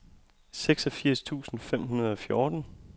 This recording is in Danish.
seksogfirs tusind fem hundrede og fjorten